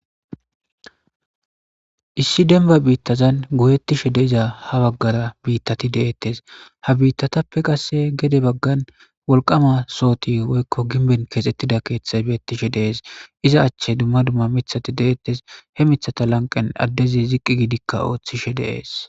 Issi demba bitazan goyetishe diza ha bagara bitat de'etes, ha bittappe qase gede bagan wolqama sohot woykko gimben kexetida kethat de'etes, iza lanqen dumma dumma mithat de'etes , be mithaza lanqenka adez duge ziq gid othishe de'es.